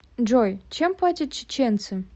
джой чем платят чеченцы